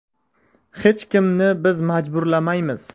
Hech kimni biz majburlamaymiz.